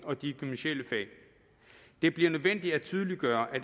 og de gymnasiale fag det bliver nødvendigt at tydeliggøre at